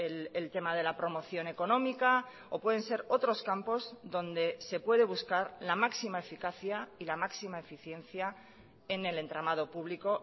el tema de la promoción económica o pueden ser otros campos donde se puede buscar la máxima eficacia y la máxima eficiencia en el entramado público